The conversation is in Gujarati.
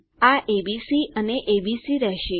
આ એબીસી અને એબીસી રહેશે